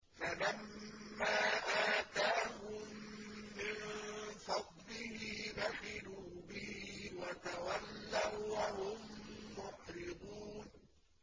فَلَمَّا آتَاهُم مِّن فَضْلِهِ بَخِلُوا بِهِ وَتَوَلَّوا وَّهُم مُّعْرِضُونَ